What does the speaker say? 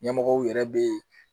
Ɲɛmɔgɔw yɛrɛ bɛ